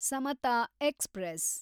Samata express